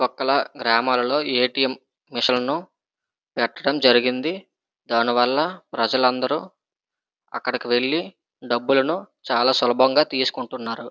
పక్కల గ్రామాలలోని A. T. M మిషన్లు పెట్టడం జరిగింది. దానివల్ల ప్రజలందరూ అక్కడికి వెళ్లి డబ్బులను చాల సులభంగా తీసుకుంటున్నారు.